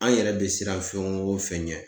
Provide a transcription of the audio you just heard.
An yɛrɛ be siran fɛn wo fɛn ɲɛ